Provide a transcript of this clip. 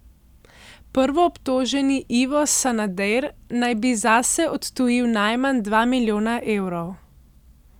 Prvoobtoženi Ivo Sanader naj bi zase odtujil najmanj dva milijona evrov.